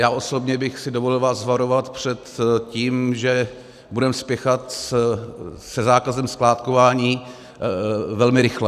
Já osobně bych si dovolil vás varovat před tím, že budeme spěchat se zákazem skládkování velmi rychle.